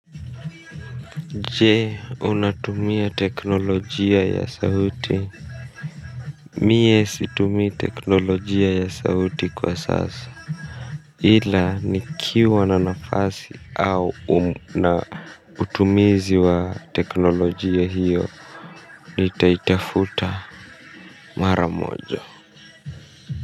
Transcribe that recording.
Jee unatumia teknolojia ya sauti mie situmi teknolojia ya sauti kwa sasa ila nikiwa na nafasi au na utumizi wa teknolojia hiyo nitaitafuta maramojo.